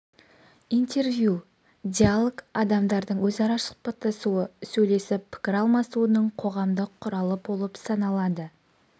интервью диалог адамдардың өзара сұхбаттасуы сөйлесіп пікір алысуының қоғамдық құралы болып саналады